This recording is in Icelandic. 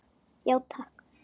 Já, takk.